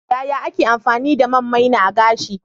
Yaya ake amfani da man maina a gashi?